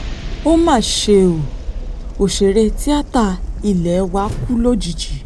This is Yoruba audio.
ó mà ṣe o òṣèré tíáta ilé wa kù lójijì